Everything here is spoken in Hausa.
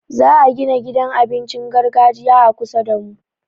Za'a gina gidan abincin gargajiya a kusa damu.